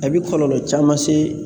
A bɛ kɔlɔlɔ caman se